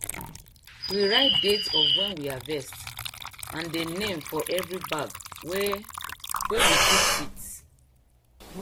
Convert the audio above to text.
we write date of wen we harvest and dey name for every bag wey wey we kip seeds